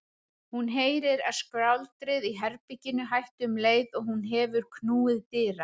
Hún heyrir að skvaldrið í herberginu hættir um leið og hún hefur knúið dyra.